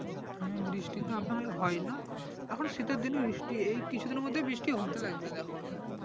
বৃষ্টি তো আশাকরি হয় না তা এখন শীতের দিন বৃষ্টি এই কিছু দিনের মধ্যে বৃষ্টি হতে লাগবে দেখো